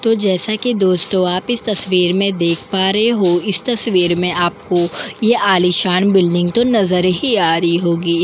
तो जैसा कि दोस्तों आप इस तस्वीर में देख पा रहे हो इस तस्वीर में आपको ये आलीशान बिल्डिंग तो नज़र ही आ रही होगी।